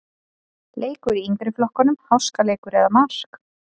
Leikur í yngri flokkunum-Háskaleikur eða mark?